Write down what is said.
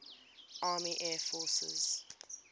army air forces